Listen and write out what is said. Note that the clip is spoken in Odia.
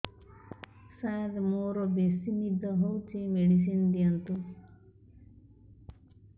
ସାର ମୋରୋ ବେସି ନିଦ ହଉଚି ମେଡିସିନ ଦିଅନ୍ତୁ